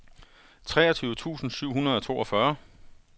treogtyve tusind syv hundrede og toogfyrre